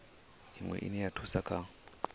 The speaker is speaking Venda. iwe ine ya thusa kha